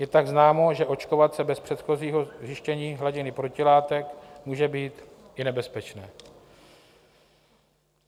Je tak známo, že očkovat se bez předchozího zjištění hladiny protilátek může být i nebezpečné.